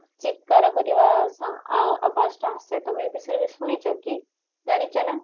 ଚିତ୍କାର କରିବା ସା ଆ ଆବାଜ ଟା ଆସେ ତମେ ଏ ବିଷୟରେ ଶୁଣିଛ କି ଜାଣିଛ ନା?